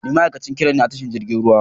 Ni ma'aikacin crane ne a tashar jirgin ruwa.